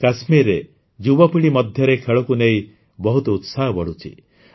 କାଶ୍ମୀରରେ ଯୁବପିଢ଼ି ମଧ୍ୟରେ ଖେଳକୁ ନେଇ ବହୁତ ଉତ୍ସାହ ବଢ଼ୁଛି